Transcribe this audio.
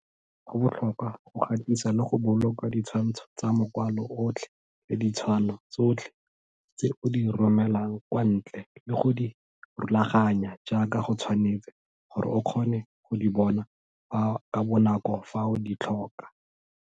Go botlhokwa go gatisa le go boloka ditshwantsho tsa makwalo otlhe le ditshwano tsotlhe tse o di romelang kwa ntle le go di rulaganya jaaka go tshwanetse gore o kgone go di bona ka bonako fa o di tlhoka.